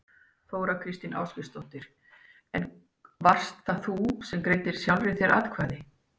Þóra Kristín Ásgeirsdóttir: En varst það þú sem að greiddir sjálfri þér atkvæði?